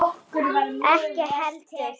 Ekki heldur